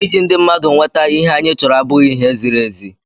ịji ndị mmadụ nweta ihe anyị chọrọ abụghị ihe ziri ezi